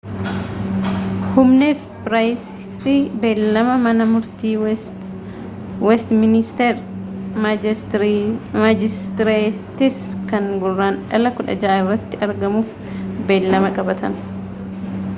huhne fi pryce beellama mana murtii westministeer maajistireetis kan guraandhala 16 irratti argamuuf beellma qabatan